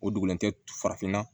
O dugulen tɛ farafinna